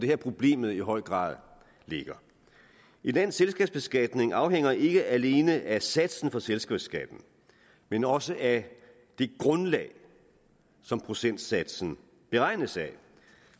her problemet i høj grad ligger et lands selskabsbeskatning afhænger ikke alene af satsen for selskabsskatten men også af det grundlag som procentsatsen beregnes af